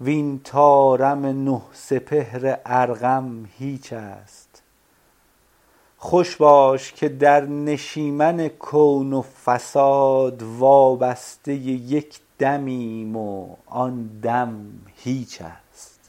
وین طارم نه سپهر ارقم هیچ است خوش باش که در نشیمن کون و فساد وابسته یک دمیم و آن هم هیچ است